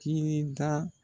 K'i be n tan